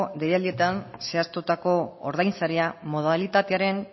deialdietan zehaztutako ordainsaria modalitatearen